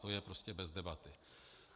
To je prostě bez debaty.